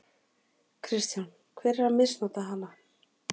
Kristján: Hver er að misnota hana?